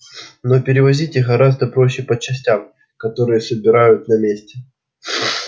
но перевозить их гораздо проще по частям которые собирают на месте